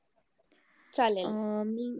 चालेलं!